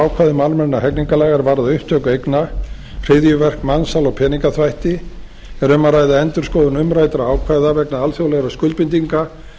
ákvæðum almennra hegningarlaga er varða upptöku eigna hryðjuverk mansal og peningaþvætti þar er um að ræða endurskoðun umræddra ákvæða vegna alþjóðlegra skuldbindinga